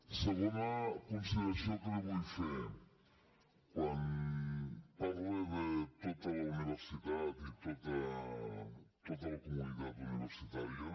segona consideració que li vull fer quan parla de tota la universitat i tota la comunitat universitària